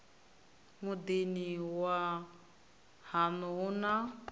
muḓini wa haṋu hu na